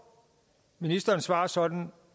ministerens svar sådan